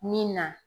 Min na